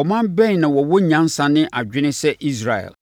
“Ɔman bɛn na wɔwɔ nyansa ne adwene sɛ Israel!”